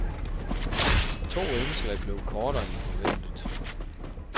To indslag blev kortere end forventet.